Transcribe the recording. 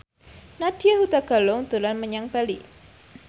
Nadya Hutagalung dolan menyang Bali